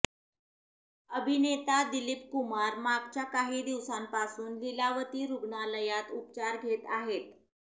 अभिनेता दिलीप कुमार मागच्या काही दिवसांपासून लिलावती रुग्णालयात उपचार घेत आहेत